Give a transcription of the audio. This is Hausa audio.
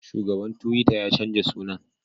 Shugaban tuwita ya canja sunan